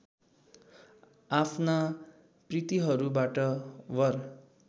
आफ्ना पितृहरूबाट वर